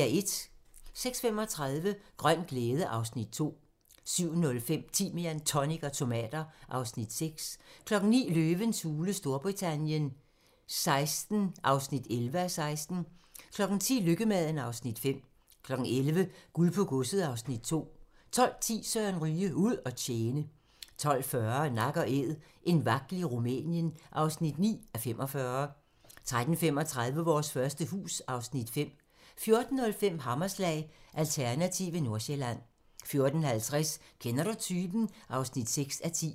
06:35: Grøn glæde (Afs. 2) 07:05: Timian, tonic og tomater (Afs. 6) 09:00: Løvens hule Storbritannien XVI (11:16) 10:00: Lykkemaden (Afs. 5) 11:00: Guld på godset (Afs. 2) 12:10: Søren Ryge: Ud at tjene 12:40: Nak & Æd - en vagtel i Rumænien (9:45) 13:35: Vores første hus (Afs. 5) 14:05: Hammerslag - Alternative Nordsjælland 14:50: Kender du typen? (6:10)